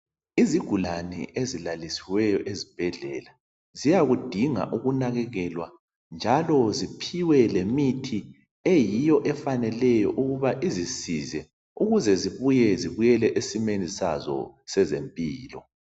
Izigulane ezilalisiweyo ezibhedlela ziyakudinga ukunakekelwa njalo ziphiwe lemithi eyiyo efaneleyo ukuba izisize ukuze zibuye zibuyele esimeni sazo sezempilo.